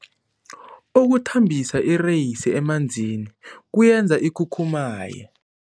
Ukuthambisa ireyisi emanzini kuyenza ikhukhumaye.